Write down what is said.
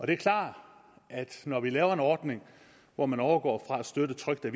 det er klart at når vi laver en ordning hvor man overgår fra at støtte trykte